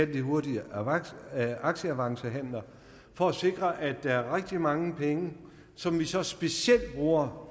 de hurtige aktieavancehandler for at sikre at der er rigtig mange penge som vi så specielt bruger